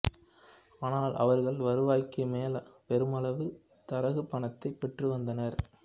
ஆனால் அவர்கள் வருவாய்க்குமேல் பெருமளவு தரகுப் பணத்தைப் பெற்று வந்தனர்